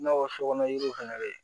I n'a fɔ sokɔnɔ yiriw fana bɛ yen